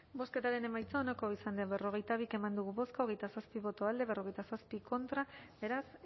bozketaren emaitza onako izan da berrogeita bi eman dugu bozka hogeita zazpi boto alde cuarenta y siete contra beraz